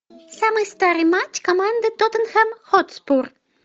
самый старый матч команды тоттенхэм хотспур